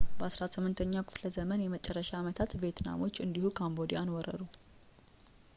በ18ኛው ክፍለ ዘመን የመጨረሻ ዓመታት ቪየትናሞች እንዲሁ ካምቦዲያን ወረሩ